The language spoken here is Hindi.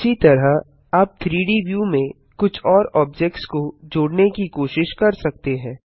इसी तरह आप 3डी व्यू में कुछ और ऑब्जेक्ट्स को जोड़ने की कोशिश कर सकते हैं